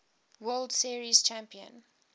world series champion